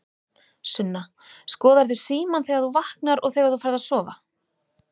Sunna: Skoðarðu símann þegar þú vaknar og þegar þú ferð að sofa?